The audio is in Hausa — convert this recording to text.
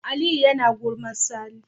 Aliyu yAna gulmar sani